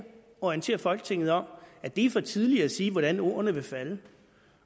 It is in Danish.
orienterer folketinget om at det er for tidligt at sige hvordan ordene vil falde